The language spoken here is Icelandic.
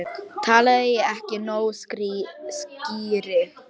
Talaði ég ekki nógu skýrt?